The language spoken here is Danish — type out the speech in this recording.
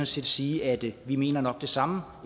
set sige at vi nok mener det samme